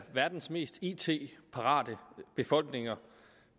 verdens mest it parate befolkninger